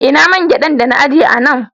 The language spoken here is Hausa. Ina man gyaɗan dana ajiye a nan